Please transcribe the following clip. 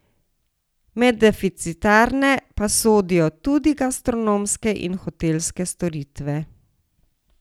Med deficitarne pa sodijo tudi gastronomske in hotelske storitve.